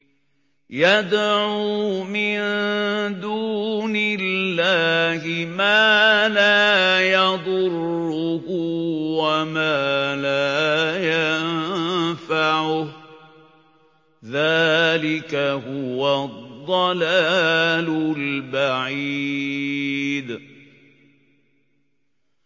يَدْعُو مِن دُونِ اللَّهِ مَا لَا يَضُرُّهُ وَمَا لَا يَنفَعُهُ ۚ ذَٰلِكَ هُوَ الضَّلَالُ الْبَعِيدُ